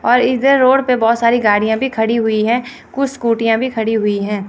और इधर रोड पे बहुत सारी गाड़ियां भी खड़ी हुई है कुछ स्कूटियां भी खड़ी हुई हैं।